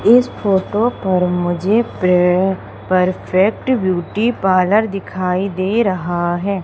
इस फोटो पर मुझे पे परफेक्ट ब्यूटी पार्लर दिखाई दे रहा है।